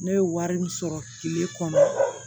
Ne ye wari min sɔrɔ kile kɔnɔ